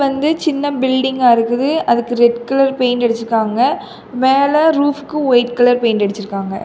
இது வந்து சின்ன பில்டிங்கா இருக்குது அதுக்கு ரெட் கலர் பெயிண்ட் அடிச்சிருக்காங்க மேல ரூஃப்க்கு ஒயிட் கலர் பெயிண்ட் அடிச்சிருக்காங்க.